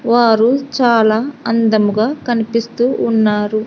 వారు చాలా అందముగా కనిపిస్తూ ఉన్నారు.